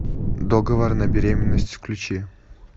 договор на беременность включи